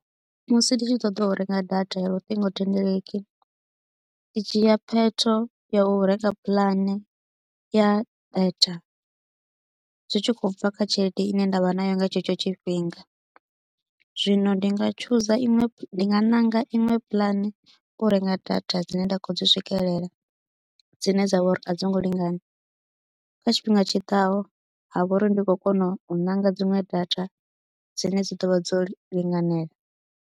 Musi nditshi ṱoḓa urenga data ya luṱingo thendeleki i dzhia phetho ya u renga puḽane ya data zwi tshi khou bva kha tshelede ine nda vha nayo nga tshetsho tshifhinga zwino ndi nga tshuza iṅwe ndi nga ṋanga iṅwe pulani u renga data dzine nda kho dzi swikelela dzine dza vha uri a dzi ngo lingana kha tshifhinga tshiḓaho ha vha uri ndi khou kona u ṋanga dziṅwe data dzine dzi ḓovha dzo linganela.